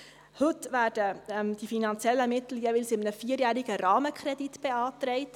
Heute werden die finanziellen Mittel jeweils in einem vierjährigen Rahmenkredit beantragt.